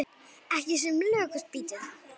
Ekki sem lökust býti það.